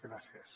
gràcies